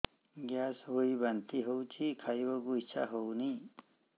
gas ହୋଇ ବାନ୍ତି ହଉଛି ଖାଇବାକୁ ଇଚ୍ଛା ହଉନି